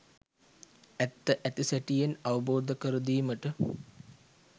ඇත්ත ඇති සැටියෙන් අවබෝධකර දීමට